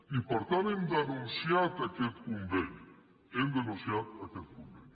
i per tant hem denunciat aquest conveni hem denunciat aquest conveni